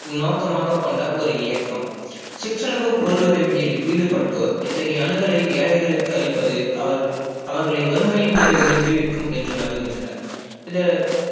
நோக்கமாக கொண்ட ஒரு இயக்கம் சிற்றளவு பொருள் உதவியில் ஈடுப்பட்டோர் இத்தகைய அணுகலை ஏழைகளுக்கு அளிப்பது அவர்கள் அவர்களை வறுமையின் பிடியில் இருந்து விடிவிக்கும் என்று நம்பிகின்றனர் இத